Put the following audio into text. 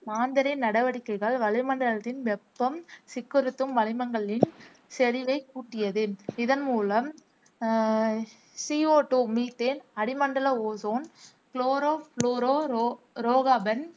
மாந்தரின் நடவடிக்கைகள் வளிமண்டலத்தின் வெப்பம் சிக்குறுத்தும் வளிமங்களின் செறிவை கூட்டியது, இதன் மூலம் அஹ் சி ஓ டூ, மீத்தேன், அடிமண்டல ஓசோன், குளோரோபுளோரோ ரோகாபன்,